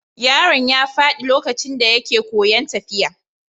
Yaron ya faɗi lokacin da yake koyon tafiya.